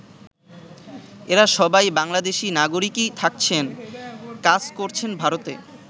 এরা সবাই বাংলাদেশী নাগরিকই থাকছেন, কাজ করছেন ভারতে!